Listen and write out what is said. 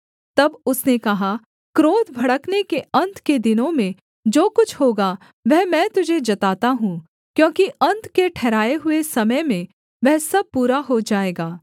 तब उसने कहा क्रोध भड़कने के अन्त के दिनों में जो कुछ होगा वह मैं तुझे जताता हूँ क्योंकि अन्त के ठहराए हुए समय में वह सब पूरा हो जाएगा